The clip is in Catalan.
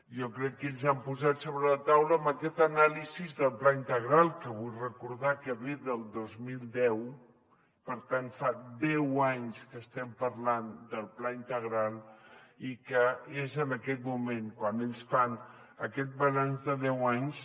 jo crec que ells han posat sobre la taula amb aquesta anàlisi del pla integral que vull recordar que ve del dos mil deu per tant fa deu anys que estem parlant del pla integral i que és en aquest moment quan ells fan aquest balanç de deu anys